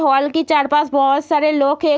Hall की चार पास बहोत सारे लोग है।